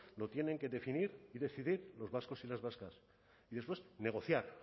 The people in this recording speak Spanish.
los tienen que definir y decidir los vascos y las vascas y después negociar